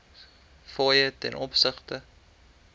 fooie ten opsigte